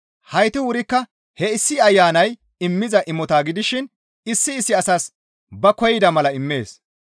Heyti wurikka he issi Ayanay immiza imota gidishin issi issi asas ba koyida mala immees.